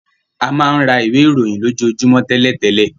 A máa rà ìwé ìròyìn lo jo jumọ télètélè.